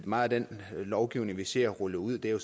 meget af den lovgivning vi ser rullet ud er jo